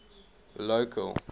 local